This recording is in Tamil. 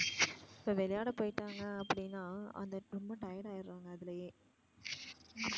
இப்ப விளையாட போயிட்டாங்க அப்படினா அந்த பொன்னு tired ஆகிடுவாங்க அதுலையே